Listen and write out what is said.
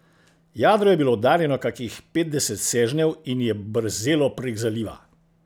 Jadro je bilo oddaljeno kakih petdeset sežnjev in je brzelo prek zaliva.